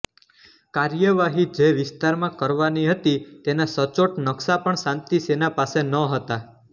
કાર્યવાહી જે વિસ્તારમાં કરવાની હતી તેના સચોટ નક્શા પણ શાંતિસેના પાસે નહોતા